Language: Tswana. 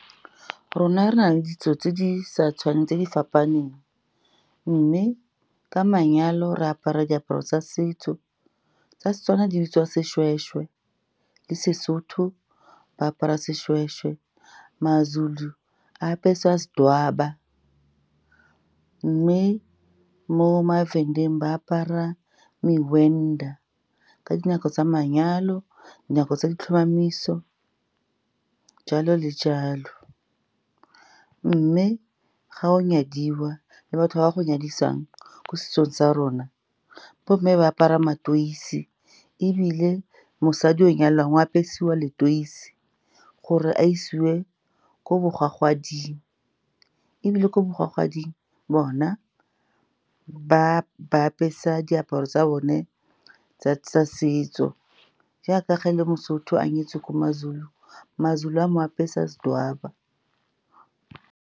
Rona re na le ditso tse di fapaneng, mme ka manyalo re apara diaparo tsa setso tsa seTswana, di bitswa seshweshwe, le seSotho ba apara seshweshwe. MaZulu a apeswa sidwaba, mme mo maVenda-eng ba apara ka dinako tsa manyalo, dinako tsa ditlhomamiso, jalo le jalo. Mme ga o nyadiwa le batho ba ba go nyadisang, ko setsong sa rona, bo mme ba apara matoisi, ebile mosadi o nyalwang apesiwa letoisi gore a isiwe ko bogwagading, ebile ko bogwagading bona, ba ba apesa diaparo tsa bone tsa setso, jaaka ga le moSotho a nyetswe ko maZulu, maZulu a mo apesa sidwaba.